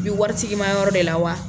Bi waritigi ma yɔrɔ de la wa.